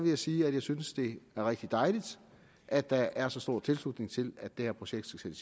jeg sige at jeg synes det er rigtig dejligt at der er så stor tilslutning til at det her projekt skal